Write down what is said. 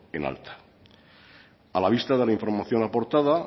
en alta a la vista de la información aportada